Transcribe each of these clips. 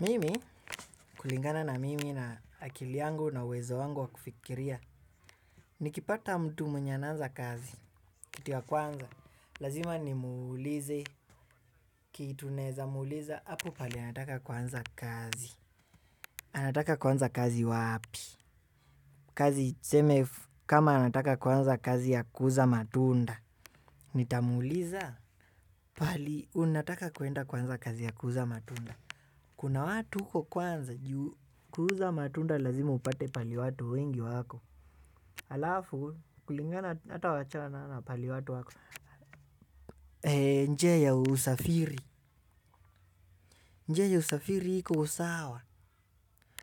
Mimi kulingana na mimi na akili yangu na uwezo wangu wa kufikiria. Nikipata mtu mwenye anaanza kazi, kitu ya kwanza, lazima nimuulize, kitu naeza, muuliza, hapo pahali anataka kuanza kazi. Anataka kuanza kazi wapi? Kazi tuseme kama anataka kuanza kazi ya kuuza matunda. Nitamuuliza? Paali, unataka kuenda kuanza kazi ya kuuza matunda. Kuna watu huko kwanza juu. Kuuza matunda lazima upate paali watu wengi wako alafu kulingana hata wachana na paali watu wako njia ya usafiri. Njia ya usafiri iko usawa.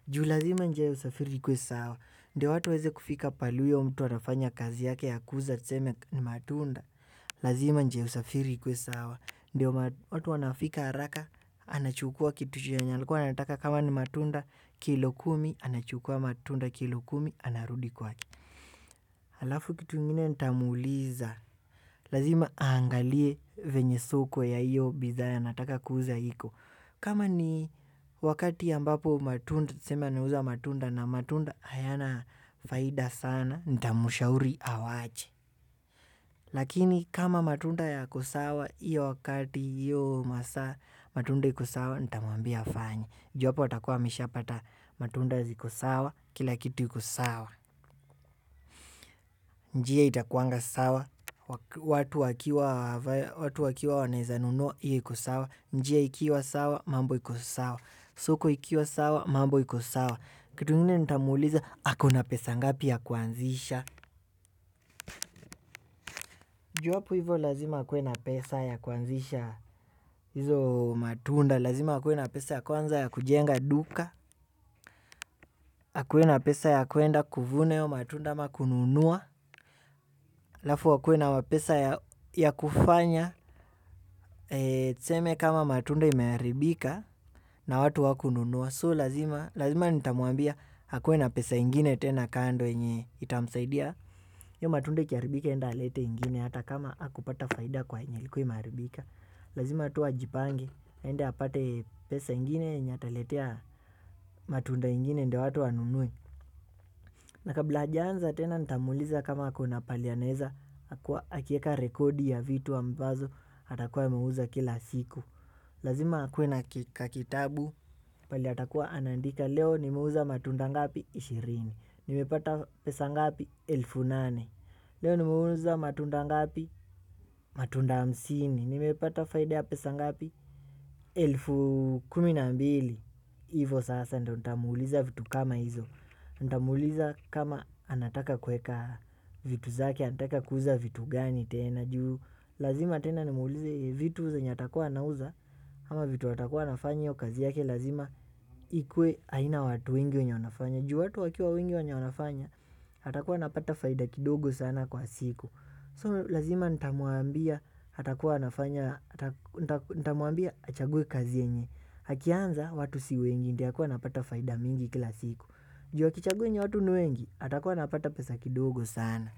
Juu lazima njia ya usafiri ikuwe sawa ndio watu waeze kufika pahalo huyo mtu anafanya kazi yake ya kuuza tuseme ni matunda. Lazima njia ya usafiri ikuwe sawa ndio watu wanafika haraka. Anachukua kitu chenye alikuwa anataka kama ni matunda. Kilo kumi anachukua matunda kilo kumi anarudi kwake. Halafu kitu ingine nitamuuliza, lazima aangalie venye soko ya iyo bidhaa anataka kuuza hiko. Kama ni wakati ambapo matunda, tuseme anauza matunda na matunda hayana faida sana, nitamushauri awache. Lakini kama matunda yako sawa, iyo wakati, iyo masaa, matunda iko sawa, nitamwambia afanye. Ju apo atakuwa ameshapata matunda ziko sawa, kila kitu iko sawa. Njia itakuanga sawa. Watu wakiwa wanaeza nunua iyo iko sawa. Njia ikiwa sawa mambo iko sawa. Soko ikiwa sawa mambo iko sawa. Kitu ingine nitamuuliza ako na pesa ngapi ya kuanzisha juu hapo hivo lazima akue na pesa ya kuanzisha. Hizo matunda lazima akue na pesa ya kwanza ya kujenga duka akue na pesa ya kuenda kuvuna hio matunda ama kununua alafu akue na pesa ya kufanya. Tuseme kama matunda imeharibika na watu hawakununua So, lazima nitamuambia akuwe na pesa ingine tena kando yenye itamsaidia hio matunda ikiaribika aenda alete ingine hata kama hakupata faida kwa yenye ilikuwa imeharibika. Lazima tu ajipange, aenda apate pesa ingine yenye ataletea matunda ingine ndio watu wanunue. Na kabla ajaanza tena nitamuliza kama ako na paali anaeza akieka rekodi ya vitu ambazo atakuwa ameuza kila siku. Lazima akue na kitabu paali atakuwa anandika leo nimeuza matunda ngapi ishirini, nimepata pesa ngapi elfu nane, leo nimeuza matunda ngapi matunda hamsini, nimepata faida ya pesa ngapi elfu kumi na mbili. Hivo sasa ndio nitamuuliza vitu kama hizo nitamuuliza kama anataka kueka vitu zake. Anataka kuuza vitu gani tena. Juu lazima tena nimuulize vitu zenye atakuwa anauza. Ama vitu atakuwa anafanya kazi yake. Lazima ikue haina watu wengi wenye wanafanya. Juu watu wakiwa wengi wenye wanafanya atakuwa anapata faida kidogo sana kwa siku So lazima nitamuambia. Atakuwa anafanya. Nitamuambia achaguwe kazi yenye akianza watu si wengi ndio akuwe anapata faida mingi kila siku. Juu akichagua yenye watu ni wengi atakuwa anapata pesa kidogo sana.